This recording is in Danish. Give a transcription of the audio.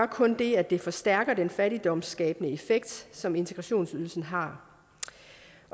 kun det at det forstærker den fattigdomsskabende effekt som integrationsydelsen har